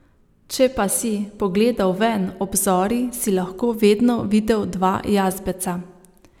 Če pa si pogledal ven ob zori, si lahko vedno videl dva jazbeca.